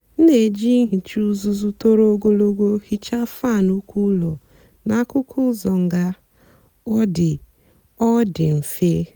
m na-èjì nhìcha ùzùzù tọ́rọ́ ògólógó hìchaa fáan úkò ụ́lọ́ na akùkù ụ́zọ́ ngá ọ dị́ ọ dị́ mfe.